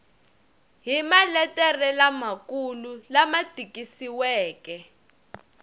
hi maletere lamakulu lama tikisiweke